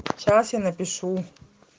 сейчас я напишу